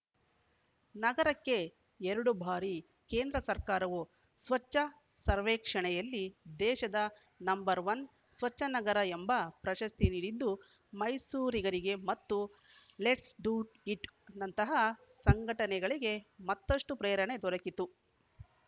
ನಗರಕ್ಕೆ ಎರಡು ಬಾರಿ ಕೇಂದ್ರ ಸರ್ಕಾರವು ಸ್ವಚ್ಛ ಸರ್ವೇಕ್ಷಣೆಯಲ್ಲಿ ದೇಶದ ನಂಬರ್ ಒನ್ ಸ್ವಚ್ಛನಗರ ಎಂಬ ಪ್ರಶಸ್ತಿ ನೀಡಿದ್ದು ಮೈಸೂರಿಗರಿಗೆ ಮತ್ತು ಲೆಟ್ಸ್‌ ಡು ಇಟ್‌ ನಂತಹ ಸಂಘಟನೆಗಳಿಗೆ ಮತ್ತಷ್ಟುಪ್ರೇರಣೆ ದೊರಕಿತು